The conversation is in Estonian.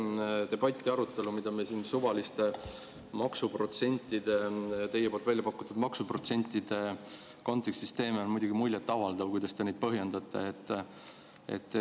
Selle debati ja arutelu puhul, mida me siin suvaliste maksuprotsentide, teie väljapakutud maksuprotsentide kontekstis teeme, on muidugi muljet avaldav, kuidas te neid põhjendate.